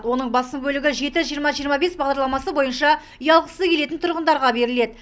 оның басым бөлігі жеті жиырма жиырма бес бағдарламасы бойынша үй алғысы келетін тұрғындарға беріледі